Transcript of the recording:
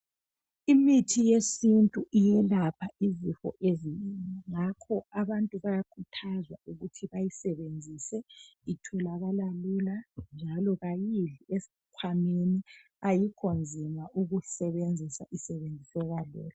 Imithi yesintu iyelapha izifo ezinengi ngakho abantu bayakhuthazwa ukuthi bayisebenzisa itholokala lula njalo kayidli esikhwameni ayikhonzima ukuyisebensisa, isebenziseka lula.